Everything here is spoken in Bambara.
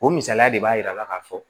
O misaliya de b'a yira ka fɔ